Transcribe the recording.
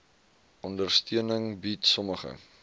ondersteuning bied sommige